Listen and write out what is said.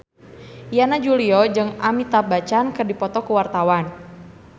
Yana Julio jeung Amitabh Bachchan keur dipoto ku wartawan